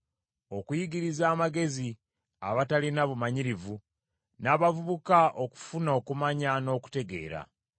okuyigiriza amagezi abatalina bumanyirivu, n’abavubuka okufuna okumanya n’okutegeera.